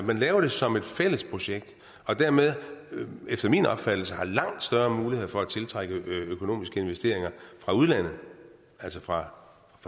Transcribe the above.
at man laver det som et fælles projekt og dermed efter min opfattelse har langt større muligheder for at tiltrække økonomiske investeringer fra udlandet altså fra